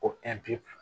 Ko